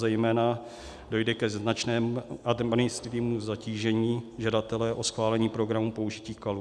Zejména dojde ke značnému zatížení žadatele o schválení programu použití kalů.